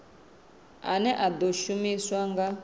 ane a ḓo shumiswa nga